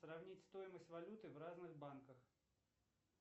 сравнить стоимость валюты в разных банках